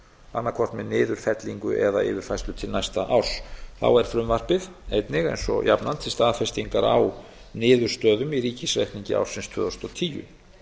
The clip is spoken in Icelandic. annaðhvort með niðurfellingu eða yfirfærslu til næsta árs þá er frumvarpið einnig eins og jafnan til staðfestingar á niðurstöðum í ríkisreikningi ársins tvö þúsund og tíu